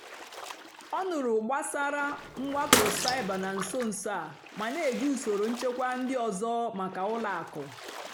ọ́ nụ́rụ́ gbàsàrà mwákpó cybér nà nsó nsó á mà nà-èjì ùsòrò nchèkwà ndí ọ́zọ́ màkà ùlọ àkụ́.